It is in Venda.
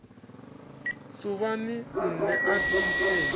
suvhani nṋe a thi sengi